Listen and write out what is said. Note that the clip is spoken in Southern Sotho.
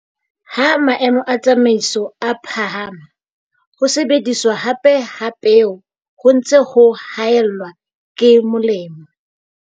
Ha maemo a tsamaiso a phahama, ho sebediswa hape ha peo ho ntse ho haellwa ke molemo.